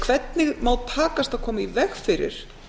hvernig má takast að koma í veg fyrir